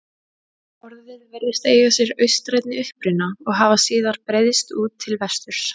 Orðið virðist eiga sér austrænni uppruna og hafa síðar breiðst út til vesturs.